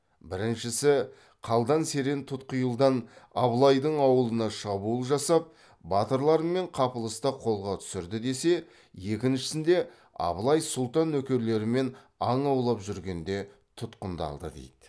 біріншісі қалдан серен тұтқиылдан абылайдың ауылына шабуыл жасап батырларымен қапылыста қолға түсірді десе екіншісінде абылай сұлтан нөкерлерімен аң аулап жүргенде тұтқындалды дейді